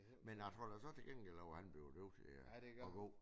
Men tror du så til gengæld at han blev nødt til at gå?